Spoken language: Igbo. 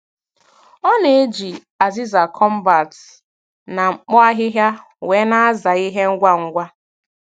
Ọ na-eji azịza combat na mkpo ahịhịa wee na-aza ihe ngwa ngwa.